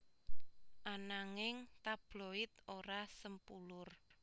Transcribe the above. Ananging tabloid ora sempulur